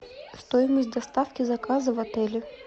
стоимость доставки заказа в отеле